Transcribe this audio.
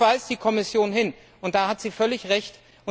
Darauf weist die Kommission hin, und da hat sie völlig Recht.